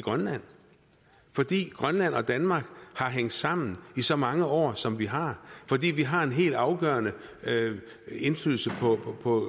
i grønland fordi grønland og danmark har hængt sammen i så mange år som vi har fordi vi har en helt afgørende indflydelse